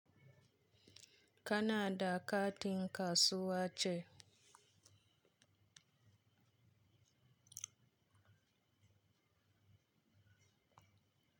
Kanada katin kasuwa ce.